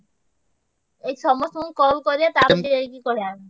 ଏଇ ସମସ୍ତଙ୍କୁ call କରିଆ ତାପରେ ଯାଇକି କହିଆ।